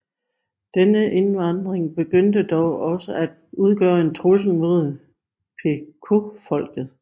Denne indvandring begyndte dog også at udgøre en trussel mod Pequotfolket